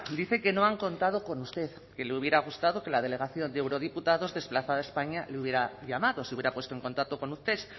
dice que no han contado con usted que le hubiera gustado que la delegación de eurodiputados desplazada a españa le hubiera llamado se hubiera puesto en contacto con usted